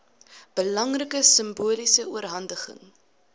belangrike simboliese oorhandiging